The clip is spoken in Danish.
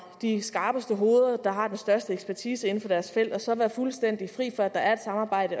de skarpeste hoveder der har den største ekspertise inden for deres felt og så være fuldstændig fri for at der er samarbejde